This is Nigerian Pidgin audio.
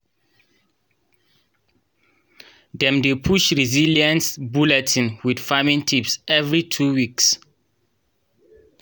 dem dey publish resilience bulletin wit farming tips every two weeks.